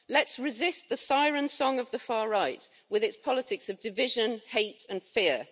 Let's resist the siren song of the far right with its politics of division, hate and fear.